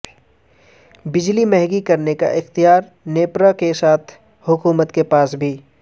بجلی مہنگی کرنے کا اختیار نیپرا کے ساتھ حکومت کے پاس بھی